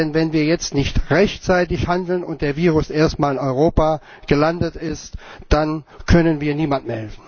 Denn wenn wir jetzt nicht rechtzeitig handeln und das Virus erst mal in Europa gelandet ist, dann können wir niemandem mehr helfen.